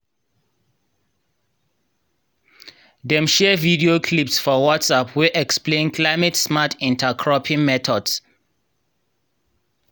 dem share video clips for whatsapp wey explain climate-smart intercropping methods.